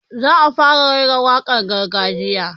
Zan fara raira wakar gargajiya